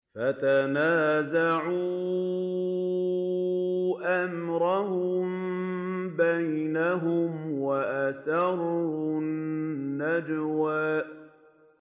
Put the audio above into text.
فَتَنَازَعُوا أَمْرَهُم بَيْنَهُمْ وَأَسَرُّوا النَّجْوَىٰ